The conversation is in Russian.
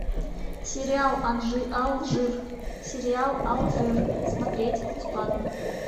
сериал алжир сериал алжир смотреть бесплатно